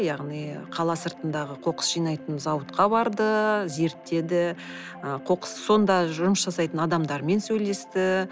яғни қала сыртындағы қоқыс жинайтын зауытқа барды зерттеді ы сонда жұмыс жасайтын адамдармен сөйлесті